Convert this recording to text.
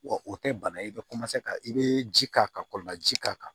Wa o tɛ bana ye i bɛ ka i bɛ ji k'a kan ka kɔlɔnlaji k'a kan